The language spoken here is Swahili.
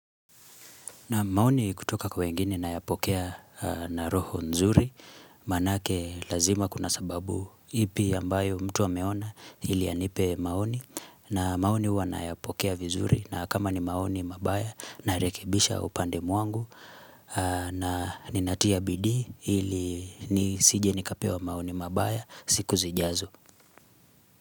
Na maoni kutoka kwa wengine na yapokea na roho nzuri maanake lazima kuna sababu ipi ambayo mtu ameona ili anipe maoni na maoni huwa nayapokea vizuri na kama ni maoni mabaya narekebisha upande wangu na ninatia bidii ili nisije nikapewa maoni mabaya siku zijazo.